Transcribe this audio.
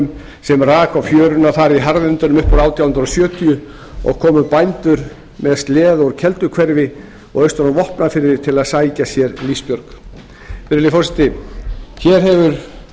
sveinungsvíkurhvalnum sem rak á fjöruna þar í harðindunum upp úr átján hundruð sjötíu og komu bændur með sleða úr kelduhverfi og austan úr vopnafirði til að sækja sér lífsbjörgina virðulegi forseti hér hefur